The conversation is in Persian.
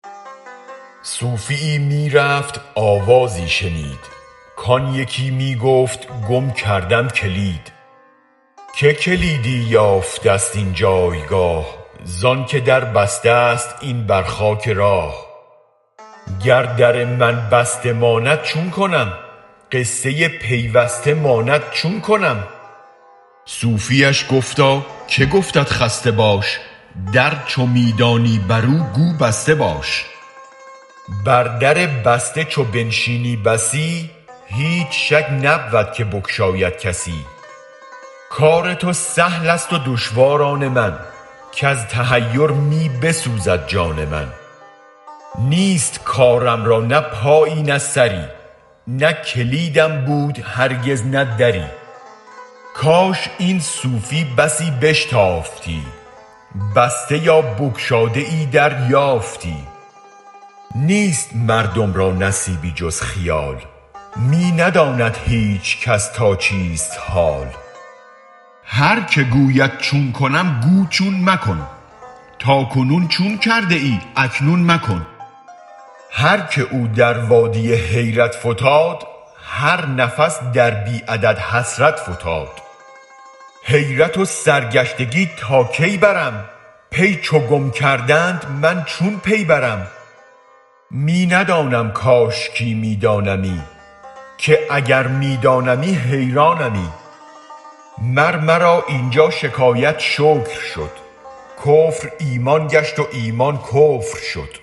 صوفیی می رفت آوازی شنید کان یکی می گفت گم کردم کلید که کلیدی یافتست این جایگاه زانک دربستست این بر خاک راه گر در من بسته ماند چون کنم غصه پیوسته ماند چون کنم صوفیش گفتاکه گفتت خسته باش در چو می دانی برو گو بسته باش بر در بسته چو بنشینی بسی هیچ شک نبود که بگشاید کسی کار تو سهل است و دشوار آن من کز تحیر می بسوزد جان من نیست کارم را نه پایی نه سری نه کلیدم بود هرگز نه دری کاش این صوفی بسی بشتافتی بسته یا بگشاده ای در یافتی نیست مردم را نصیبی جز خیال می نداند هیچ کس تا چیست حال هر که گوید چون کنم گو چون مکن تا کنون چون کرده ای اکنون مکن هر که او در وادی حیرت فتاد هر نفس در بی عدد حسرت فتاد حیرت و سرگشتگی تا کی برم پی چو گم کردند من چون پی برم می ندانم کاشکی می دانمی که اگر می دانمی حیرانمی مر مرا اینجا شکایت شکر شد کفر ایمان گشت و ایمان کفر شد